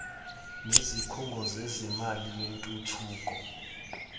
nezikhungo zezimali yentuthuko